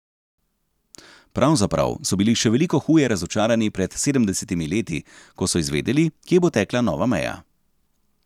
Pravzaprav so bili še veliko huje razočarani pred sedemdesetimi leti, ko so izvedeli, kje bo tekla nova meja.